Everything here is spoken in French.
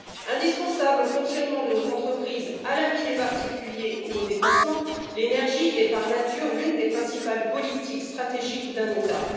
Indispensables au fonctionnement de nos entreprises, à la vie des particuliers ou aux déplacements, l'énergie est, par nature, l'une des principales politiques stratégiques d'un État.